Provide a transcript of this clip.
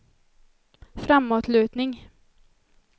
framåtlutning